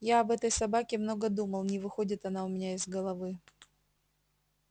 я об этой собаке много думал не выходит она у меня из головы